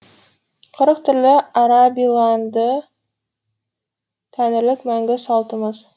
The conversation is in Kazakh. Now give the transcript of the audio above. қырық түрлі арабиланды тәңірлік мәңгі салтымыз